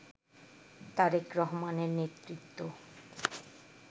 তারেক রহমানের নেতৃত্ব